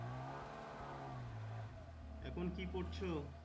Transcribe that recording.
এখন কি করছো?